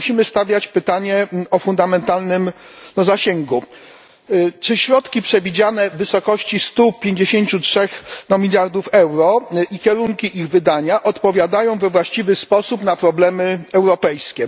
musimy stawiać pytanie o fundamentalnym zasięgu czy środki przewidziane w wysokości 153 miliardów euro i kierunki ich wydawania odpowiadają we właściwy sposób na problemy europejskie?